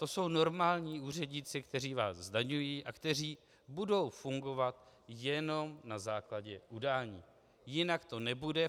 To jsou normální úředníci, kteří vás zdaňují a kteří budou fungovat jenom na základě udání, jinak to nebude.